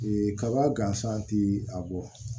kaba gansan ti a bɔ